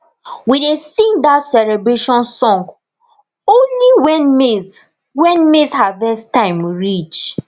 we dey sing that celebration song only when maize when maize harvest time reach